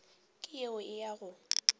ke yeo e a go